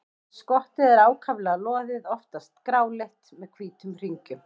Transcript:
Skottið er ákaflega loðið, oftast gráleitt með hvítum hringjum.